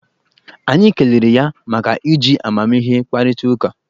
Anyị kelere ya maka iji amamihe kparịta ụka